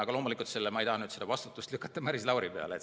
Aga loomulikult ei taha ma vastutust lükata Maris Lauri peale.